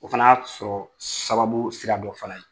O fana y'a sɔrɔ sababu sira dɔ fana ye.